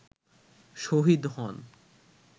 শহীদ হন